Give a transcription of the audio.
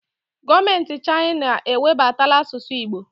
Gọọmenti Chaịna ewebatala asụsụ Igbo